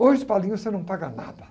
Hoje, você não paga nada.